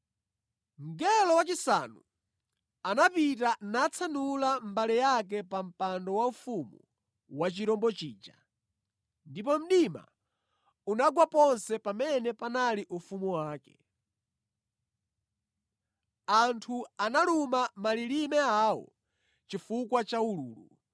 Mngelo wachisanu anapita natsanula mbale yake pa mpando waufumu wa chirombo chija ndipo mdima unagwa ponse pamene panali ufumu wake. Anthu analuma malilime awo chifukwa cha ululu.